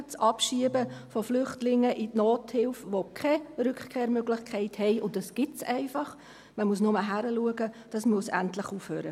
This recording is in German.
Das Abschieben von Flüchtlingen, die keine Rückkehrmöglichkeiten haben, in die Nothilfe – und das gibt es einfach, man muss nur hinschauen –, muss endlich aufhören.